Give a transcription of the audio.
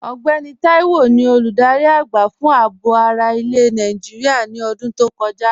Ọgbẹ́nì Táíwò ni olúdárí agba fun àábò ara ilẹ̀ Nàìjíríà ní ọ̀dún tó kọja.